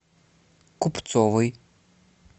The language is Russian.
купцовой